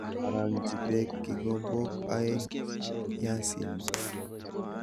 Arang'nji peek kikombook aeng' biyasinik?